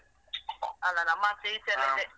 ಅಲ ನಮ್ಮಾಚೆ ಈಚೆ ಎಲ್ಲ ಇದೆ.